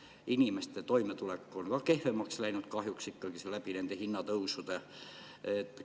Inimeste toimetulek on kahjuks kehvemaks läinud nende hinnatõusude tõttu.